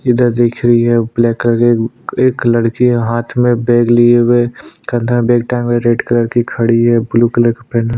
इधर दिख रही है ब्लैक कलर के एक लड़की हाथ में बैग लिए हुए कन्धा में बैग टांगा है रेड कलर की खड़ी है ब्लू कलर का पेहना --